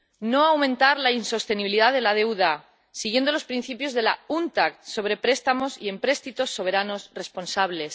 no aumentar la insostenibilidad de la deuda, siguiendo los principios de la UNCTAD sobre préstamos y empréstitos soberanos responsables